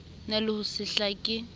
na le ho se hlake